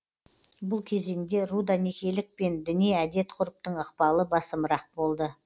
бұл кезеңде руда некелік пен діни әдет ғұрыптың ықпалы басымырақ болды